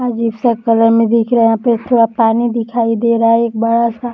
अजीब सा कलर में दिख रहा है। यहाँ पे थोड़ा पानी दिखाई दे रहा है। एक बड़ा सा --